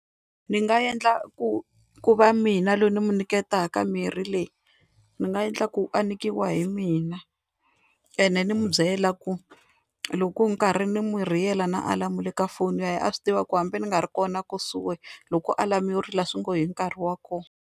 Ndzi nga endla ku ku va mina loyi ni n'wi nyiketaka mirhi leyi, ni nga endla ku a nyikiwa hi mina ene ni n'wi byela ku loko nkarhi ni n'wi rhiyela na alamu le ka foni ya hina a swi tiva ku hambi ni nga ri kona kusuhi loko alamu yo rila swi ngo i nkarhi wa kona.